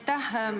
Aitäh!